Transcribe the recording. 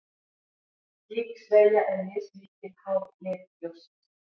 Slík sveigja er mismikil, háð lit ljóssins.